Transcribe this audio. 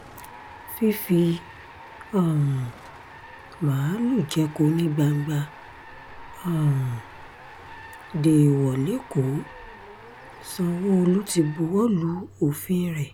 fífi um máàlùú jẹko ní gbangba um déèwọ̀ lẹ́kọ̀ọ́ sanwó-olu ti buwọ́ lu òfin rẹ̀